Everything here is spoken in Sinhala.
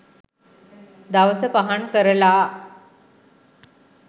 දවස පහන් කරලා